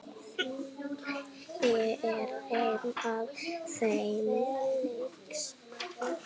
Ég er ein af þeim.